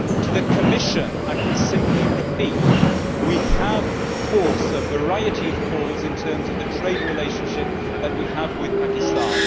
To the Commission, I can simply repeat we have, of course, a variety of calls in terms of the trade relationship that we have with Pakistan.